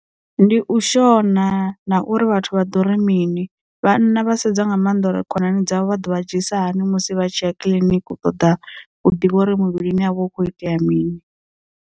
Ndi u shona na uri vhathu vha ḓo ri mini, vhana vha sedza nga maanḓa uri khonani dzavho vha ḓovha dzhi isa hani musi vha tshiya kiḽiniki u ṱoḓa u ḓivha uri muvhilini avho hu kho itea mini.